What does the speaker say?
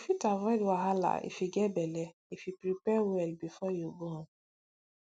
you fit avoid wahala if you get belle if you prepare well before you born